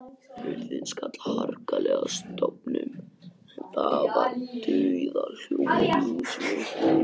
Hurðin skall harkalega að stöfum og það var dauðahljóð í húsinu.